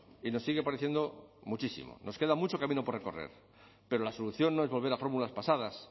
y nos sigue pareciendo muchísimo nos queda mucho camino por recorrer pero la solución no es volver a fórmulas pasadas